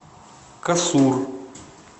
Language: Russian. касур